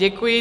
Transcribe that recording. Děkuji.